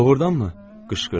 Doğrudanmı qışqırdım?